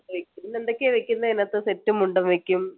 പിന്നെ എന്തൊക്കെയാ വെക്കുന്നെ അതിനകത്ത് സെറ്റും മുണ്ടും വെക്കും